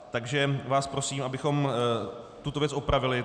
Takže vás prosím, abychom tuto věc opravili.